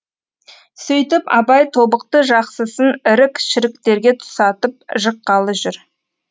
сөйтіп абай тобықты жақсысын ірік шіріктерге тұсатып жыққалы жүр